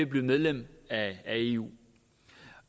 blive medlem af eu